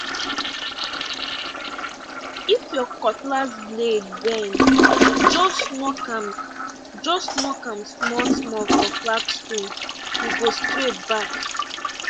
if your cutlass blade bend just knock am just knock am smallsmall for flat stonee go straight back